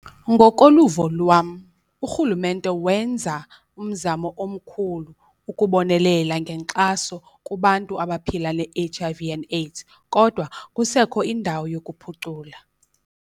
Ngokoluvo lwam urhulumente wenza umzamo omkhulu ukubonelela ngenkxaso kubantu abaphila ne-H_I_V and AIDS kodwa kusekho indawo yokuphucula.